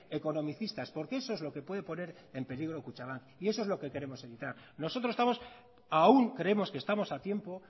economicistas porque eso es lo que puede poner en peligro a kutxabank y eso es lo que queremos evitar nosotros estamos aún creemos que estamos a tiempo